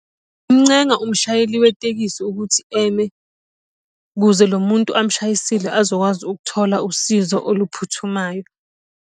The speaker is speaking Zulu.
Ngingamuncenga umshayeli wetekisi ukuthi eme ukuze lo muntu amushayisile azokwazi ukuthola usizo oluphuthumayo.